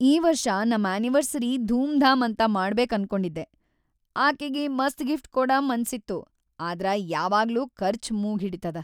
ಈ ವರ್ಷ್‌ ನಂ ಅನಿವರ್ಸರಿ ಧೂಮ್‌ ಧಾಮ್‌ ಅಂತ ಮಾಡಬೇಕ ಅನ್ಕೊಂಡಿದ್ದೆ, ಅಕಿಗಿ ಮಸ್ತ್‌ ಗಿಫ್ಟ್‌ ಕೊಡ ಮನ್ಸಿತ್ತು. ಆದ್ರ ಯಾವಾಗ್ಲೂ ಖರ್ಚು ಮೂಗ್ಹಿಡಿತದ.